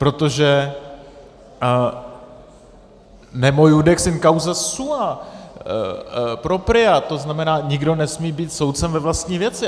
Protože nemo iudex in causa sua propria, to znamená nikdo nesmí být soudcem ve vlastní věci.